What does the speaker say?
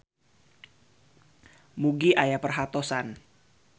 Mugi aya perhatosan.